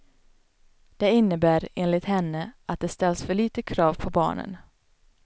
Det innebär, enligt henne, att det ställs för litet krav på barnen.